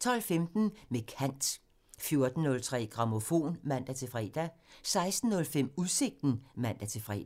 12:15: Med kant (man) 14:03: Grammofon (man-fre) 16:05: Udsigten (man-fre)